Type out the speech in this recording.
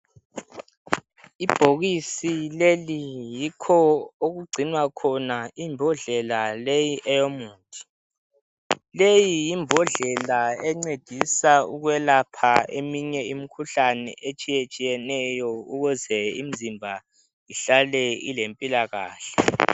Ibhokisi leli yikho okugcinwa khona imbodlela leyi eyomuthi. Leyi yimbodlela encedisa ukwelapha eminye imikhuhlane etshiyetshiyeneyo ukuze imizimba ihlale ilempilakahle.